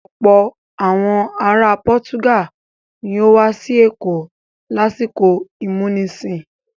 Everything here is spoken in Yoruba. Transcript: Ọ̀pọ̀ àwọn ara Pọ́túgàl ní ó wá sí Èkó lásìkò ìmúnisìn